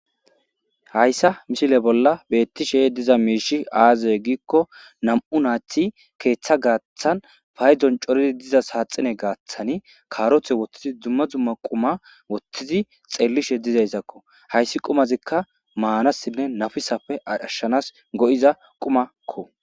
Haysa misile bolla betishe diza mishy aze gikon 2 nayt ketha gathan paydon corid diza saxine gathan karote wothid dumma dumma quma wothid xelishe dizaysakko, hays qumazika manasinne nafisappe ashanas go'iza qumako qumako